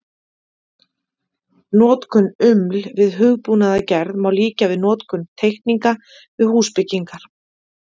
Notkun UML við hugbúnaðargerð má líkja við notkun teikninga við húsbyggingar.